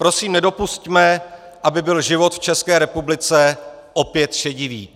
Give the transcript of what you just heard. Prosím, nedopusťme, aby byl život v České republice opět šedivý.